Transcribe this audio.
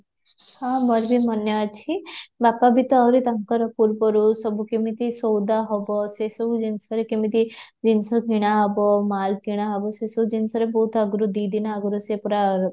ହଁ ମୋର ବି ମନେ ଅଛି, ବାପା ବି ତ ଆହୁରି ତାଙ୍କର ପୂର୍ବରୁ ସବୁ କେମିତି ସଉଦା ହେବ ସେ ସବୁ ଜିନିଷରେ କେମିତି ଜିନିଷ କିଣା ହେବ ମାଲ କିଣା ହେବ ସେ ସବୁ ଜିନିଷରେ ବହୁତ ଆଗରୁ ଦୁଇ ଦିନ ଆଗରୁ ସେ ପୁରା ବ୍ୟସ୍ତ